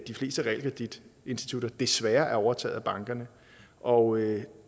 de fleste realkreditinstitutter desværre er overtaget af bankerne og